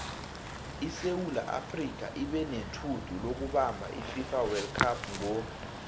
isewula afrika ibenetjhudu lokubamab ififa wold cup ngo